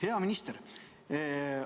Hea minister!